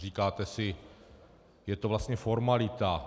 Říkáte si, je to vlastně formalita.